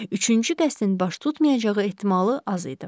Üçüncü qəsdin baş tutmayacağı ehtimalı az idi.